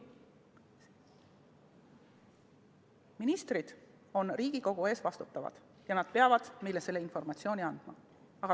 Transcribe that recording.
Ministrid on Riigikogu ees vastutavad ja nad peavad meile informatsiooni andma.